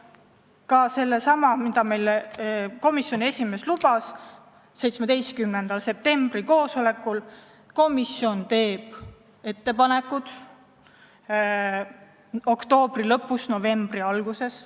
Mainin ka seda, mida meile komisjoni esimees lubas 17. septembri koosolekul, et komisjon teeb ettepanekud oktoobri lõpus või novembri alguses.